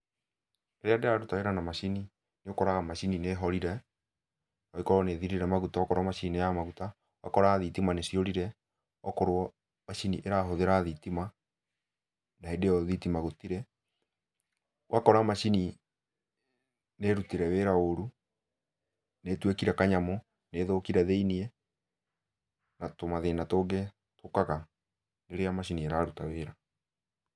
Rĩrĩa ndĩraruta wĩra na macini nĩ ũkoraga macini nĩhorire, noĩkorwo nĩthirire maguta akorwo macini nĩ ya maguta. Ũgakora thitima nĩciũrire, okorwo macini ĩrahũthĩra thitima, na hĩndĩ ĩyo thitima gũtirĩ. Ũgakora macini nĩrutire wĩra ũru, nĩtuĩkire kanyamũ, nĩthũkire thĩiniĩ, na tũmathĩna tũngĩ tũkaga rĩrĩa macini ĩraruta wĩra.